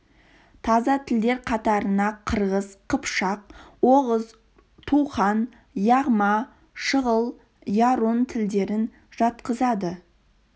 таза тілдер қатарына қырғыз қыпшақ оғыз тухан яғма шығыл ярун тілдерін жатқызады